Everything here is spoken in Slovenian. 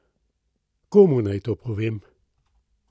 Komu naj to povem?